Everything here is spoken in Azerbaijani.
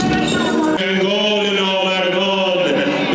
Heydər, Heydər, namərdlər.